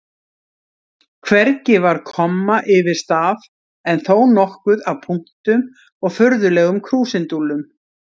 Hvergi var komma yfir staf en þó nokkuð af punktum og furðulegum krúsindúllum.